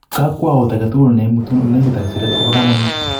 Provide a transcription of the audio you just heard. Kakuout age tugul ne imutun ole lekit ak siret kopo kamanut